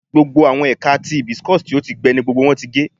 Gbogbo awọn ẹka ti hibiscus ti o gbẹ ni gbogbo wọn ti ge